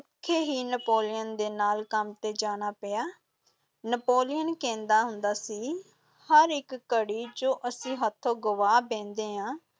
ਭੁੱਖੇ ਹੀ ਨੈਪੋਲੀਅਨ ਦੇ ਨਾਲ ਕੰਮ ‘ਤੇ ਜਾਣਾ ਪਿਆ, ਨੈਪੋਲੀਅਨ ਕਹਿੰਦਾ ਹੁੰਦਾ ਸੀ, ਹਰ ਇਕ ਘੜੀ, ਜੋ ਅਸੀਂ ਹੱਥੋਂ ਗਵਾ ਬਹਿੰਦੇ ਹਾਂ,